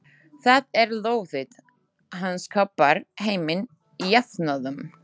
Það er lóðið, hann skapar heiminn jafnóðum.